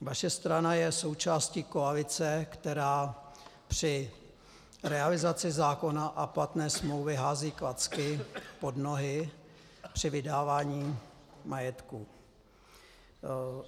Vaše strana je součástí koalice, která při realizaci zákona a platné smlouvy hází klacky pod nohy při vydávání majetku.